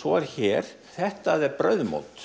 svo er hér þetta er brauðmót